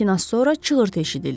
Lakin az sonra çığırtı eşidildi.